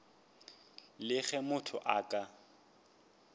le ge motho a ka